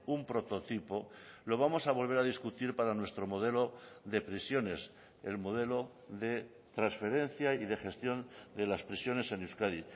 un prototipo lo vamos a volver a discutir para nuestro modelo de prisiones el modelo de transferencia y de gestión de las prisiones en euskadi